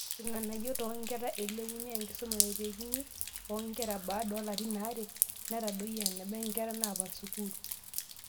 Irng'anayio toonkera: Elepunye enkisuma naitekini oonkera baada oolarin aare, netadoyio eneba nkera naapal sukuul